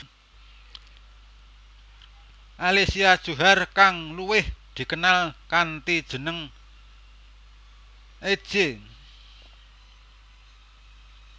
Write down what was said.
Alicia Djohar kang luwih dikenal kanthi jeneng Itje